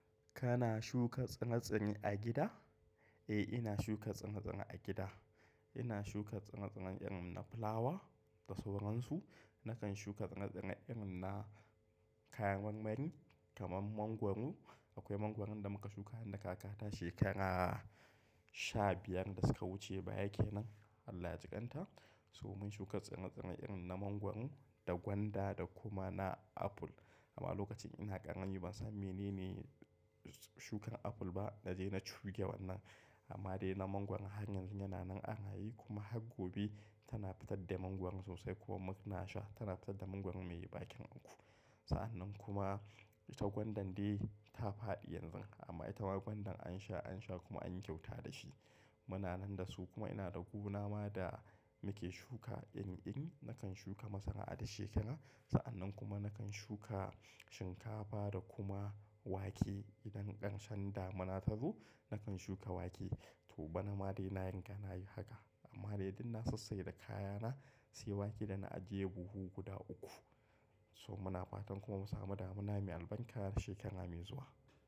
Kana shuka tsire-tsire a gida? Eh ina shuka tsire tsire a gida. Ina shuka tsire-tsire irin na fulawa da sauransu. Nakan shuka tsire-tsire irin na kayan marmari kamar mangwaro. Akwai mangwaron da muka shuka nida kakata shekara sha biyar da suka wuce baya kenan, Allah ya jiƙanta. So mun shuka tsire-tsire irin na mangwaro da gwanda da kuma na apple. Amma lokacin ina ƙarami ban san menene shukan apple ba na je na chuge wannan. Amma dai na mangwaro har yanzu yana nan a raye kuma har gobe tana fitar da mangwaro sosai kuma muna sha. Tana fitar da mangwaro mai bakin aku. Sa'annan kuma ita gwandan dai ta faɗi yanzu amma ita ma gwandan an sha, an sha kuma anyi kyauta da shi. Muna nan da su kuma ina da gona ma da muke shuka irin-irin. Nakan shuka masara'a da shekara. Sa'annan kuma nakan shuka shinkafa da kuma wake idan ƙarshen damuna ta zo nakan shuka wake. To bana ma dai na riga na yi haka. Amma dai dun na sassai da kayana, sai wake da na ajiye buhu guda uku. So muna fatan kuma mu samu damuna mai albarka shekara mai zuwa.